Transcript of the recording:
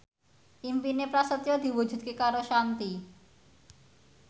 impine Prasetyo diwujudke karo Shanti